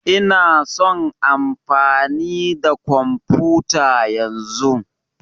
Ina son amfani da kwamfuta yanzun.